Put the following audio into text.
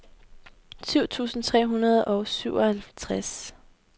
syv tusind tre hundrede og syvoghalvtreds